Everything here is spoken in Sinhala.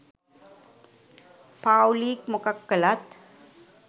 පාව්ලික් මොකක් කළත්